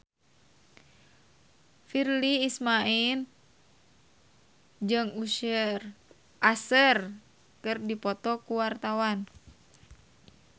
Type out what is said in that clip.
Virnie Ismail jeung Usher keur dipoto ku wartawan